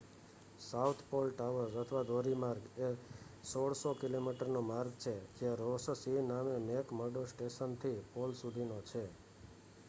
south Pole Traverse અથવા ધોરી માર્ગ એ 1600 કિમીનો માર્ગ છે જે રૉસ સી ના મેક મર્ડો સ્ટેશન થી પોલ સુધીનો છે